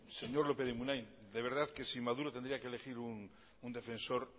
señor lópez de munain de verdad que si maduro tendría que elegir un defensor